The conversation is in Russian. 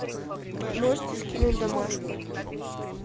можете скинуть домашку